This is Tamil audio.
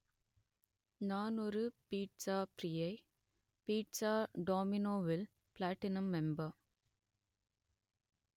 நான் ஒரு பீட்ஸாப் பிரியை பீட்ஸா டோமினோவில் பிளாட்டினம் மெம்பர்